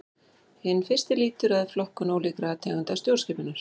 Hinn fyrsti lýtur að flokkun ólíkra tegunda stjórnskipunar.